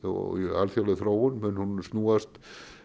alþjóðleg þróun snúast